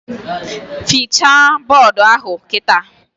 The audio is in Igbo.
Fichaa bọdụ ahụ kịta!